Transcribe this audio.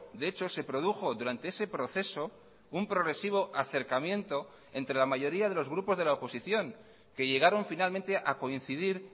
de hecho se produjo durante ese proceso un progresivo acercamiento entre la mayoría de los grupos de la oposición que llegaron finalmente a coincidir